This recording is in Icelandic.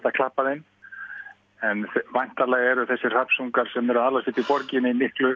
klappa þeim en væntanlega eru þessir hrafnsungar sem eru að alast upp í borginni miklu